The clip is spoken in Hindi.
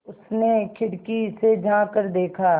उसने खिड़की से झाँक कर देखा